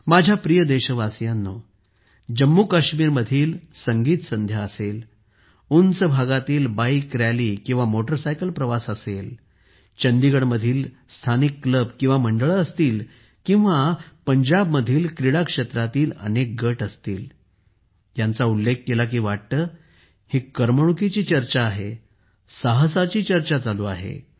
माझ्या प्रिय देशवासियांनो जम्मूकाश्मीरमधील संगीत संध्या असेल उंच भागातील बाइक रॅली मोटारसायकल प्रवास असेल चंदीगडमधील स्थानिक क्लब मंडळे असतील किंवा पंजाबमधील क्रीडाक्षेत्रातील अनेक गट असतील ह्यांचा उल्लेख केला की वाटते ही करमणुकीची चर्चा आहे साहसाची चर्चा चालू आहे